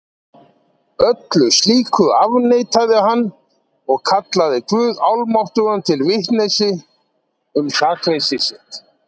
Öllu slíku afneitaði hann og kallaði guð almáttugan til vitnis um sakleysi sitt.